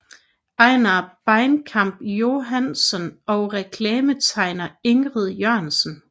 Ejner Bainkamp Johansson og reklametegner Ingrid Jørgensen